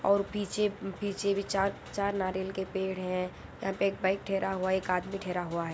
और पीछे पीछे भी चार चार नारियल के पेड़ है यहाँ पे एक बाइक ठहरा हुआ है | एक आदमी ठहरा हुआ है।